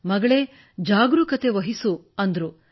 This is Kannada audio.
ಮಗಳೇ ಜಾಗರೂಕತೆವಹಿಸಿ ಕೆಲಸ ಮಾಡು ಎಂದರು